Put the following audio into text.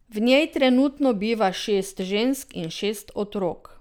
V njej trenutno biva šest žensk in šest otrok.